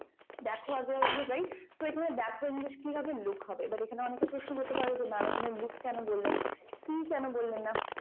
দেখো আগে আসবে right তো এখানে দেখো english কি হবে look হবে but এখানে অনেকে প্রশ্ন করতে পারো যে mam এখানে look কেন বললেন see কেন বললেন না?